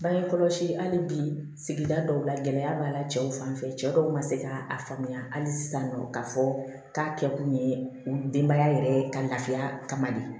Bange kɔlɔsi hali bi sigida dɔw la gɛlɛya b'a la cɛw fanfɛ cɛ dɔw ma se k'a faamuya hali sisan k'a fɔ k'a kɛ kun ye denbaya yɛrɛ ye ka lafiya kama de